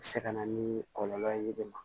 A bɛ se ka na ni kɔlɔlɔ ye den ma